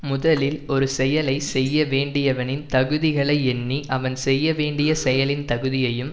முதலில் ஒரு செயலை செய்ய வேண்டியவனின் தகுதிகளை எண்ணி அவன் செய்ய வேண்டிய செயலின் தகுதியையும்